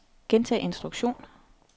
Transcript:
gentag instruktion